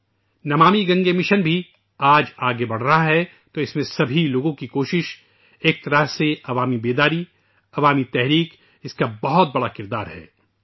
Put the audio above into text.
'Namami Gange mission' بھی آج آگے بڑھ رہا ہے ، لہذا تمام لوگوں کی کوشش ، ایک طرح سے ، عوامی بیداری ، عوامی تحریک، اس کا بہت بڑا کردار ہے